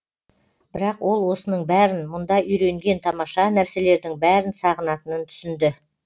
бірақ ол осының бәрін мұнда үйренген тамаша нәрселердің бәрін сағынатынын түсінді